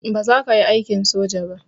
Baza kayi aikin soja ba